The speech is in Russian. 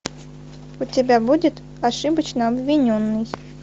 у тебя будет ошибочно обвиненный